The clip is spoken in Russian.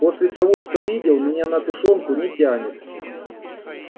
после того что видел меня на тушёнку не тянет